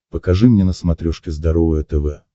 покажи мне на смотрешке здоровое тв